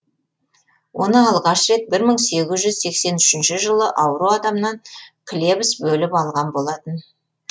оны алғаш рет бір мың сегіз жүз сексен үшінші жылы ауру адамнан клебс бөліп алған болатын